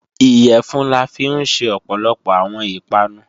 Iyẹ̀fun la fi ń ṣe ọ̀pọ̀lọpọ̀ àwọn ìpanu